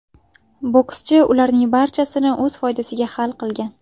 Bokschi ularning barchasini o‘z foydasiga hal qilgan.